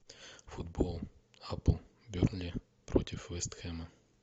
футбол апл бернли против вест хэма